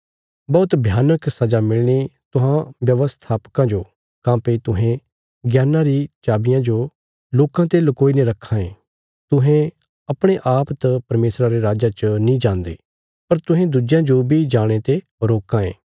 बौहत भयानक सजा मिलणी तुहां व्यवस्थापकां जो काँह्भई तुहें ज्ञानां री चाबिया जो लोकां ते लकोई ने रखां ये तुहें अपणे आप त परमेशरा रे राज्जा च नीं जान्दे पर तुहें दुज्जेयां जो बी जाणे ते रोकां ये